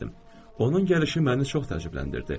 Onun gəlişi məni çox təəccübləndirdi.